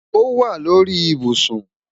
Ọ wà lórí ìbùṣún